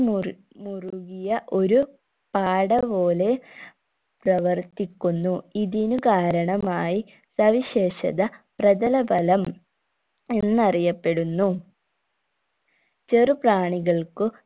മുറു മുറുകിയ ഒരു പാട പോലെ പ്രവർത്തിക്കുന്നു ഇതിനു കാരണമായി സവിശേഷത പ്രതലബലം എന്നറിയപ്പെടുന്നു ചെറുപ്രാണികൾകു